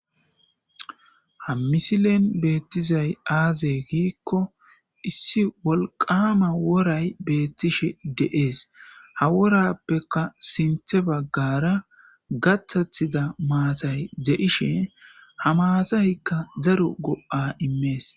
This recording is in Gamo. Ha misilen betizay azeeissi wolqama woray betishe de'es. gikon ha worappe sintha bagara gatatida maatay de'ishe ha maatatika daro go'a immes.